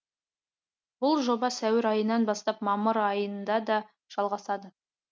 бұл жоба сәуір айынан бастап мамыр айында да жалғасады